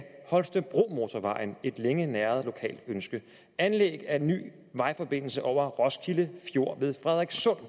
holstebromotorvejen som et længe næret lokalt ønske anlæg af en ny vejforbindelse over roskilde fjord ved frederikssund